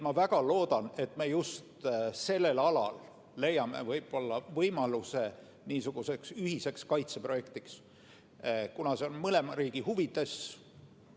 Ma väga loodan, et me just sellel alal leiame võimaluse niisuguseks ühiseks kaitseprojektiks, kuna see on mõlema riigi huvides.